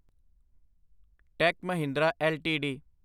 ਟੇਕ Mahindra LTD